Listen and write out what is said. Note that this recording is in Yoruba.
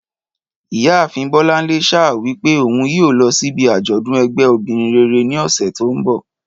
Ìyá àfin Bọ́lánlé sa wípé ohun yíò lọ sí ibì ajodun ẹgbẹ́ obìrin rere ní ọsẹ tí o nbọ